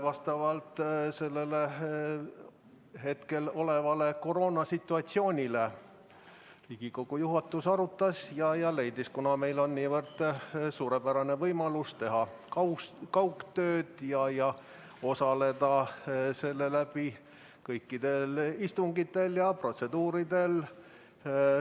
Vastavalt praegusele koroonasituatsioonile Riigikogu juhatus arutas seda ja leidis nii, kuna meil on niivõrd suurepärane võimalus teha kaugtööd ja osaleda selle kaudu kõikidel istungitel ja protseduuridel.